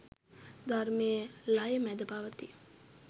ධර්මය ලය මැද පවතී.